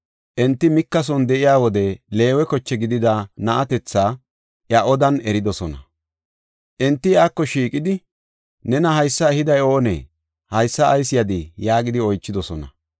Enti Mika son de7iya wode Leewe koche gidida na7atetha iya odan eridosona. Enti iyako shiiqidi, “Nena haysa ehiday oonee? Haysa ayis yadii?” yaagidi oychidosona.